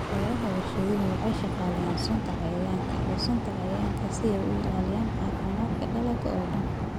Beeraha warshaduhu waxay shaqaaleeyaan sunta cayayaanka iyo sunta cayayaanka si ay u ilaaliyaan caafimaadka dalagga oo dhan.